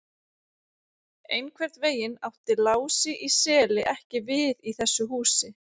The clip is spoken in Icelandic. Einhvern veginn átti Lási í Seli ekki við í þessu húsi.